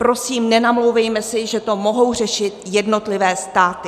Prosím, nenamlouvejme si, že to mohou řešit jednotlivé státy.